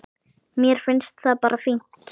Mér finnst það bara fínt.